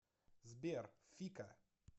сбер фика